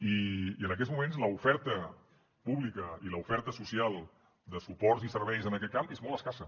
i en aquests moments l’oferta pública i l’oferta social de suports i serveis en aquest camp és molt escassa